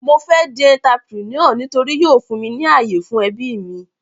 Mo fẹ́ di entrepreneur nítorí yóò fún mi ní àyè fún ẹbí mi.